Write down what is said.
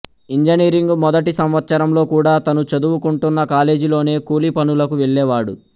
engineering మొదటి సంవత్సరంలో కూడా తను చదువుకుంటున్న కాలేజీలోనే కూలీ పనులకు వెళ్ళేవాడు